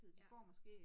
Ja